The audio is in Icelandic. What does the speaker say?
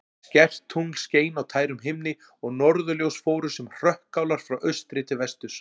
Skært tungl skein á tærum himni og norðurljós fóru sem hrökkálar frá austri til vesturs.